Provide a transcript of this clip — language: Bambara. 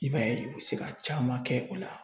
I b'a ye u bɛ se ka caman kɛ o la.